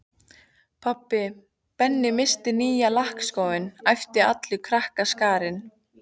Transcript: Pabbi, Benni missti nýja lakkskóinn æpti allur krakkaskarinn.